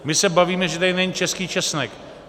My se bavíme, že tady není český česnek.